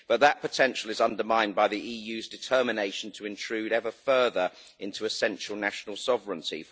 But that potential is undermined by the EU's determination to intrude ever further into a central national sovereignty.